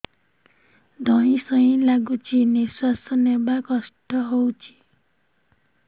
ଧଇଁ ସଇଁ ଲାଗୁଛି ନିଃଶ୍ୱାସ ନବା କଷ୍ଟ ହଉଚି